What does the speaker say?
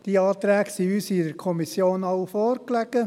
der SiK. All diese Anträge lagen uns in der Kommission vor.